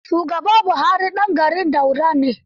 Shugaba Buhari ɗan garin Daura ne.